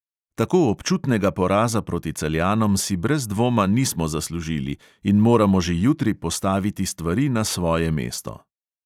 Tako občutnega poraza proti celjanom si brez dvoma nismo zaslužili in moramo že jutri postaviti stvari na svoje mesto.